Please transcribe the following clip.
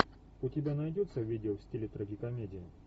у тебя найдется видео в стиле трагикомедия